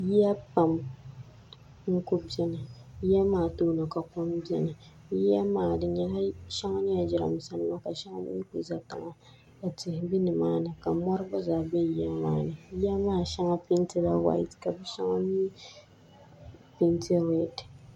Yiya pam n ku biɛni yiya maa tooni ka kom biɛni yiya maa shɛŋa nyɛla jiranbiisa nima ka shɛŋa mii ku ʒɛ tiŋa ka tihi bɛ nimaani ka mori gba zaa biɛni yiya maa shɛŋa peentila whaat ka di shɛŋa mii peenti reed